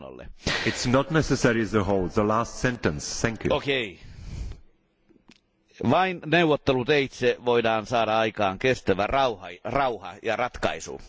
Vain neuvotteluteitse voidaan saada aikaan kestävä rauha ja ratkaisu.